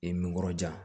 I n kɔrɔ ja